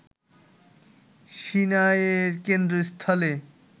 সিনাইয়ের কেন্দ্রস্থলে